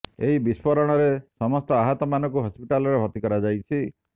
ଏହି ବିସ୍ଫୋରଣରେ ସମସ୍ତ ଆହତ ମାନଙ୍କୁ ହସ୍ପିଟାଲରେ ଭର୍ତ୍ତି କରାଯାଇଛି